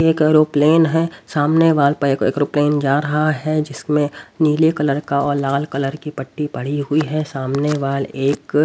एक एरोप्लेन है सामने वाल पर एक एरोप्लेन जा रहा है जिसमें नीले कलर का और लाल कलर की पट्टी पड़ी हुई है सामने वाल एक--